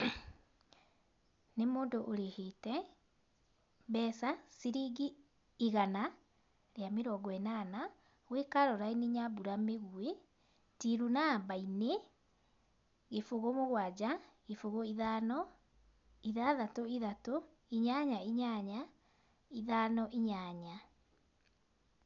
Nĩ mũndũ ũrĩhĩte, mbeca, ciringi igana, rĩa mĩrongo ĩnana gwĩ caroline nyambura mĩgwi tiru namba-inĩ, gĩbũgũ mũgwaja gĩbũgũ ithano, ithathatũ ithatũ, inyanya inyanya, ithano inyanya.